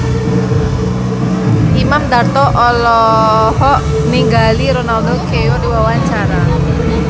Imam Darto olohok ningali Ronaldo keur diwawancara